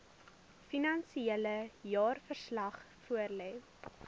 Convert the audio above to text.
finansiële jaarverslag voorlê